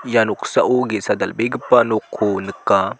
ia noksao ge·sa dal·begipa nokko nika.